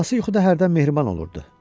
Anası yuxuda hərdən mehriban olurdu.